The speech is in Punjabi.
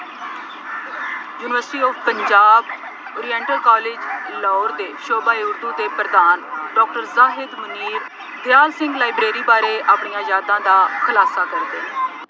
University of Punjab oriental college Lahore ਦੇ ਸ਼ੋਭਾ ਦੇ ਪ੍ਰਧਾਨ ਡਾਕਟਰ ਸਾਹਿਬ ਮੀਰ ਦਿਆਲ ਸਿੰਘ ਲਾਈਬ੍ਰੇਰੀ ਬਾਰੇ ਆਪਣੀਆਂ ਯਾਦਾਂ ਦਾ ਖੁਲਾਸਾ ਕਰਦੇ ਨੇ।